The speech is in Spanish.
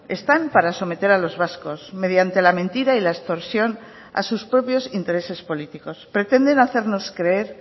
están para someter a los vascos mediante la mentira y la extorsión a sus propios intereses políticos pretenden hacernos creer